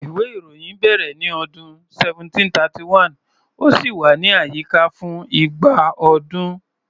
Ìwé-ìròyìn bẹ̀rẹ̀ ní ọdún 1731, ó sì wà ní àyíká fún igba ọdún.